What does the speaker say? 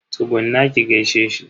Tsugunna ki gaishe shi.